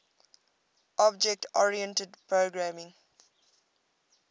object oriented programming